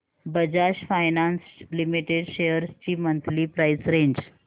Bajaj finance limited shares ची monthly price range